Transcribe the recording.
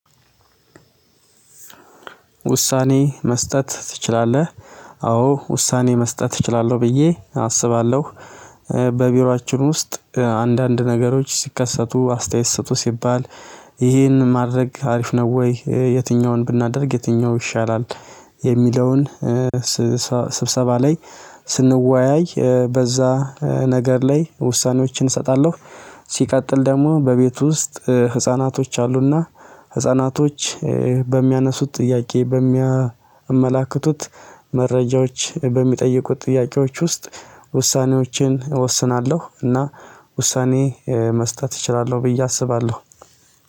ውሳኔ መስጠት ትችላለህ? አዎ ውሳኔ መስጠት እችላለሁ ብዬ አስባለሁ። በቢሮአችን ውስጥ አንዳንድ ነገሮች ሲከሰቱ አስተያየት ስጡ ሲባል ይህን ማድረግ አሪፍ ነው ወይ? የትኛውን ብናደርግ የትኛው ይሻላል? የሚለውን ስብሰባ ላይ ስንወያይ በዛ ነገር ላይ ውሳኔዎችን እሰጣለሁ። ሲቀጥል ደግሞ በቤቱ ውስጥ ህፃናቶች አሉ። እና ህፃናቶች በሚያነሱት ጥያቄ በሚያመላክቱት መረጃዎች በሚጠይቁት ጥያቄዎች ውስጥ ውሳኔዎችን እወስናለሁ። እና ውሳኔ መስጠት እችላለሁ ብዬ አስባለሁ።